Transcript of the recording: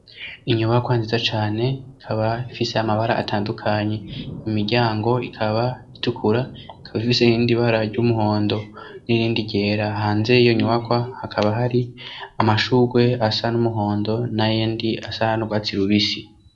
inyubakwa nziza cane ikaba ifise amabara atandukanye imiryango ikaba itukura ikaba ifise irindi bara ry'umuhondo n'irindi ryera hanze iyo nyubakwa hakaba hari amashugwe asa n'umuhondo na yendi asa n'urwatsi rubisi